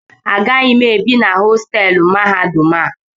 Agaghị m ebi na hostelụ mahadum a